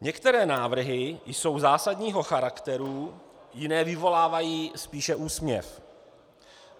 Některé návrhy jsou zásadního charakteru, jiné vyvolávají spíše úsměv.